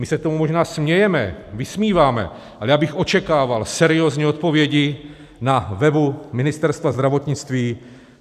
My se tomu možná smějeme, vysmíváme, ale já bych očekával seriózní odpovědi na webu Ministerstva zdravotnictví.